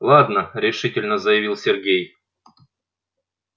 ладно решительно заявил сергей